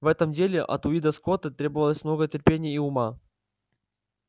в этом деле от уидона скотта требовалось много терпения и ума